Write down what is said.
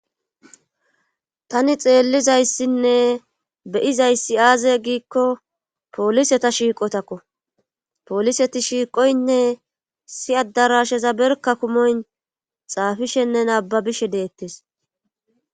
tani xeellizayssinne beyizayssi aaze giikko poliseta shiiqotakko poliseti shiiqoynne issi adarasheza berka kumoy xaafishenne naababishe deettes